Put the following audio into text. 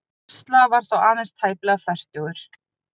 Tesla var þá aðeins tæplega fertugur.